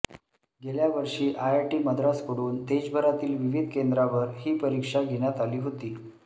गेल्या वषी आयआयटी मद्रासकडून देशभरातील विविध केंद्रांवर हा परीक्षा घेण्यात आली होती